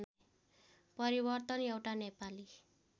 परिवर्तन एउटा नेपाली